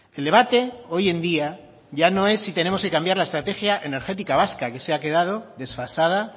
el debate hoy en día ya no es si tenemos que cambiar la estrategia energética vasca que se ha quedado desfasada